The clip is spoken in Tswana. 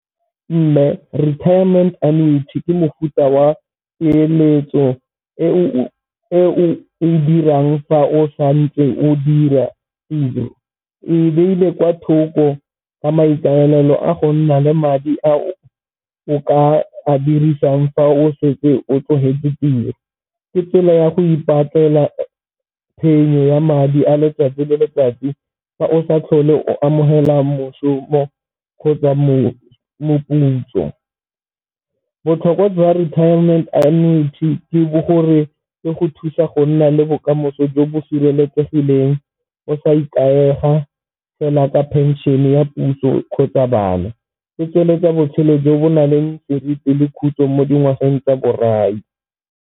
Mme retirement annuity ke mofuta wa peeletso e o dirang fa o santse o dira tiro kwa thoko ka maikaelelo a go nna le madi a o o ka a dirisang fa o setse o tlogetse tiro. Ke tsela ya go ipatlela phenyo ya madi a letsatsi le letsatsi fa o sa tlhole o amogela mošomo kgotsa moputso. Botlhokwa jwa retiement annuity ke bo gore le go thusa go nna le bokamoso jo bo sireletsegileng o sa ikaega fela ka pension ya puso kgotsa bana, e tsweletsa botshelo jo bo nang le seriti le khutso mo dingwageng tsa borai.